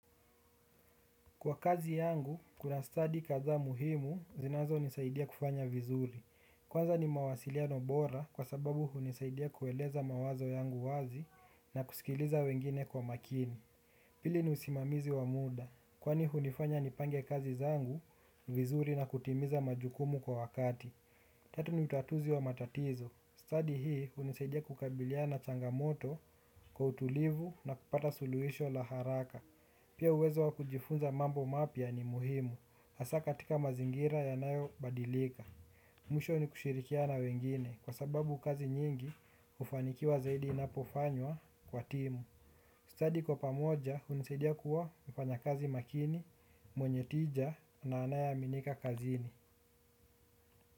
Kwa kazi yangu, kuna stadi kadhaa muhimu zinazo nisaidia kufanya vizuri. Kwanza ni mawasiliano bora kwa sababu hunisaidia kueleza mawazo yangu wazi na kusikiliza wengine kwa makini. Pili ni usimamizi wa muda, kwani hunifanya nipange kazi zangu, vizuri na kutimiza majukumu kwa wakati. Tatu ni utatuzi wa matatizo. Stadi hii unisaidia kukabiliana changamoto kwa utulivu na kupata suluisho la haraka. Pia uwezo wa kujifunza mambo mapya ni muhimu, hasa katika mazingira yanayo badilika. Mwisho ni kushirikiana wengine, kwa sababu kazi nyingi ufanikiwa zaidi inapofanywa kwa timu. Stadi kwa pamoja, unisidia kuwa mfanyakazi makini, mwenye tija na anaye aminika kazini.